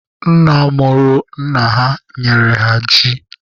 Nna mụrụ nna ha nyere ha ji.